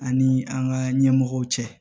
Ani an ka ɲɛmɔgɔw cɛ